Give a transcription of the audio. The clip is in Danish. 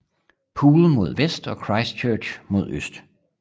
Poole mod vest og Christchurch mod øst